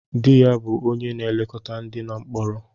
Dị ya bụ onye na-elekọta ndị nọ mkpọrọ.